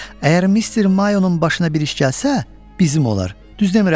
Əgər Mister Mayonun başına bir iş gəlsə, bizim olar, düz demirəm?